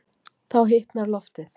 Þá hitnar loftið.